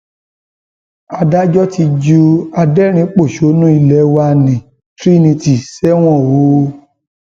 adájọ ti ju adẹrìnínpọṣónú ilé wa nni trinitylay sẹwọn o